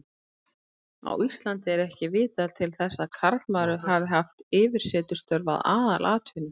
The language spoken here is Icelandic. Á Íslandi er ekki vitað til þess að karlmaður hafi haft yfirsetustörf að aðalatvinnu.